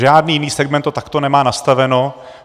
Žádný jiný segment to takto nemá nastaveno.